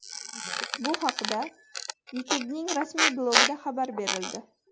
Bu haqda YouTube’ning rasmiy blogida xabar berildi .